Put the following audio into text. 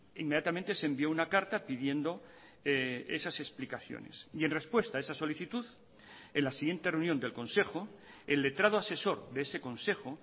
inmediatamente se envió una carta pidiendo esas explicaciones y en respuesta a esa solicitud en la siguiente reunión del consejo el letrado asesor de ese consejo